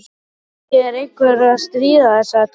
Kannski er einhver að stríða þér sagði Tóti.